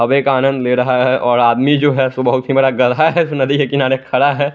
हवे का आनंद ले रहा हैं और आदमी जो हैं सो बहोत हि बड़ा गदहा हैं उस नदी के किनारे खड़ा हैं।